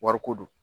Wariko don